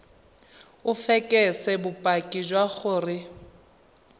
o fekese bopaki jwa gore